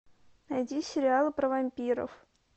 найди сериалы про вампиров